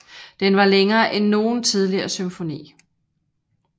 Den var længere end nogen tidligere symfoni